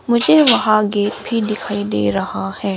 मुझे वहां गेट भी दिखाई दे रहा है।